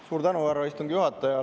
Suur tänu, härra istungi juhataja!